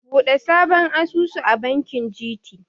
Buɗe sabon asusu a bankin GT.